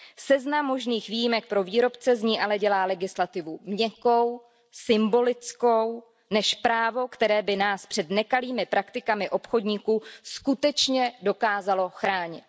Seznam možných výjimek pro výrobce z ní ale dělá legislativu měkkou, symbolickou, spíše než právo, které by nás před nekalými praktikami obchodníků skutečně dokázalo chránit.